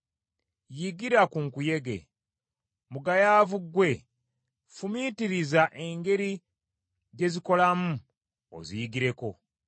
Yigira ku biwuka, mugayaavu ggwe; fumiitiriza engeri gye bikolamu obiyigireko.